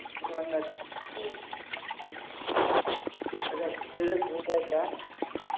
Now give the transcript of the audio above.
मी म्हणार तीन सगळा खेळच होऊन जायचा